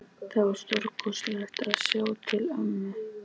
Það var stórkostlegt að sjá til ömmu.